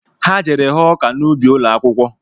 Ha jere ghọọ ọka na ubi ụlọakwụkwọ